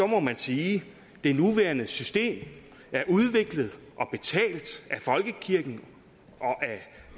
må man sige at det nuværende system er udviklet og betalt af folkekirken og af